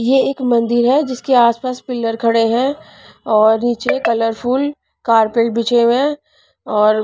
ये एक मंदिर है जिसके आसपास पिलर खड़े हैं और नीचे कलरफुल कार्पेट बिचे हुए हैं और--